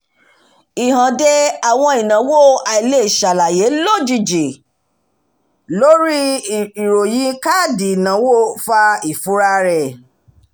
ìhànde àwọn ìnáwó àìleṣàlàyé lójijì lórí ìròyìn káàdì ìnáwó fa ìfura rẹ̀